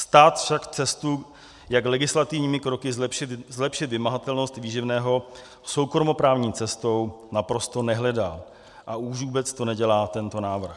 Stát však cestu, jak legislativními kroky zlepšit vymahatelnost výživného soukromoprávní cestou, naprosto nehledá, a už vůbec to nedělá tento návrh.